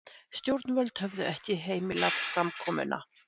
Stjórnvöld höfðu ekki heimilað samkomuna